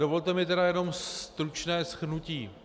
Dovolte mi tedy jenom stručné shrnutí.